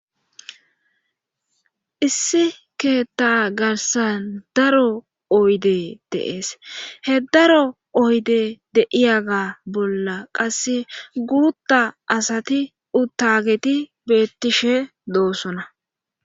issi keetta garsan daro oyde de'ees he daro oyde de'yaga bolla qasse guruta asati uttageti beettishe doosona